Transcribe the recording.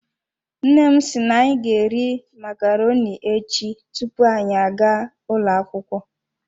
Nne m si na anyi ga eri macaroni echi tupu anyị agaa ụlọ akwukwo.